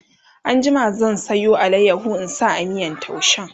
an jima zan Sayo alayaho in sa a miyan taushen